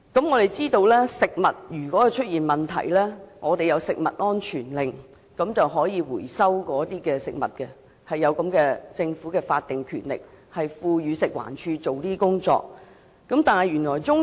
我們知道，如果食物出現問題，我們可透過食物安全命令回收食物，政府有法定權力賦予食物環境衞生署這樣做。